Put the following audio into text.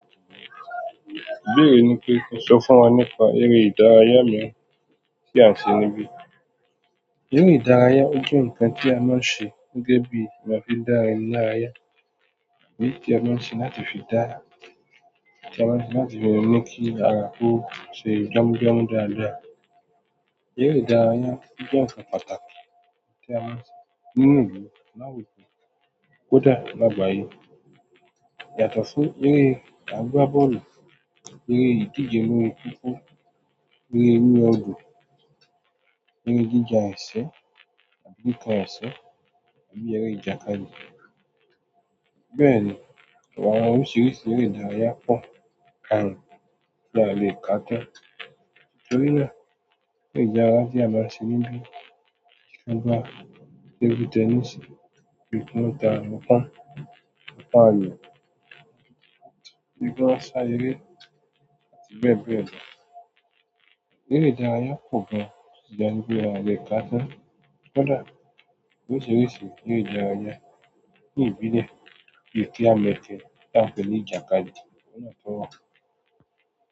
Ìbéèrè ni pé kí n sọ fún wa nípa eré ìdárayá mi tí à ń ṣe níbí. Eré ìdárayá jẹ́ ohun kan tí a máa ń ṣe gẹ́gẹ́ bí ìgbà tí dára ẹni lára ya. Èyí tí a máa ń ṣe láti fi dára. Tí a máa ń ṣe láti fi mu kí ara kó ṣe gbámú-gbàmú dáadáa. Eré ìdárayá jẹ́ nkan pàtàkì tí a máa ń ṣe nínú ìlú láwùjọ kódà lágbàáyé. Yàtọ̀ sí eré àgbá bọ́ọ̀lù, eré ìdíje lórí kókó, eré orí òdan, eré jíjà ẹsẹ̀ tàbí kikán ẹsẹ̀, àbí eré ìjàkadì. Bẹ́ẹ̀ni, ọ̀pọ̀ àwọn oríṣìíríṣìí eré ìdárayá pọ̀ ao le ká tán. Nítorí náà, eré ìdárayá tí a máa ń ṣe níbí sí i gbá tebu tẹníìsì, bí i núta, núkán, núkà áyò, núdí gíláúsà, eré àti bẹ́ẹ̀ bẹ́ẹ̀ lọ. Eré ìdárayá pò gan ṣíṣe níbi a o leekán tán, kódà oríṣìíríṣìí eré ìdárayá ní ìbílẹ̀ kí a lè kí a tó fi ní ìjàkadì, ó yàtọ̀.